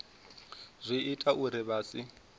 zwi ita uri vha si